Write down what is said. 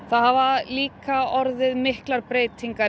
það hafa líka orðið miklar breytingar